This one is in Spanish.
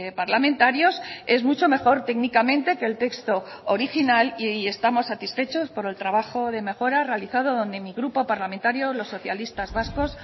parlamentarios es mucho mejor técnicamente que el texto original y estamos satisfechos por el trabajo de mejora realizado donde mi grupo parlamentario los socialistas vascos